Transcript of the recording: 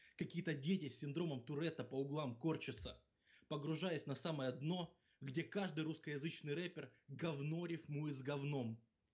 какие-то дети с синдромом туретта по углам корчатся погружаюсь на самое дно где каждый русскоязычный рэпер гавно рифмует с гавном